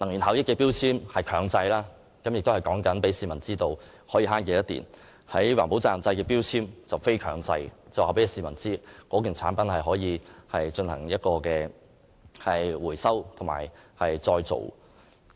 能源標籤是強制性的，告訴市民可以節省多少電量；而循環再造標籤則屬非強制性，顯示某件產品是否可以進行回收再造。